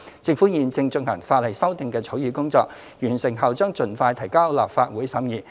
政府現正進行法例修訂的草擬工作，完成後將盡快提交立法會審議。